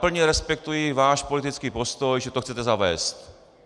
Plně respektuji váš politický postoj, že to chcete zavést.